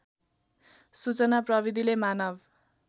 सूचना प्रविधिले मानव